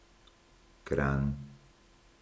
Kranj.